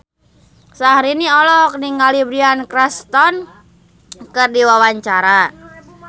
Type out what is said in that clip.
Syahrini olohok ningali Bryan Cranston keur diwawancara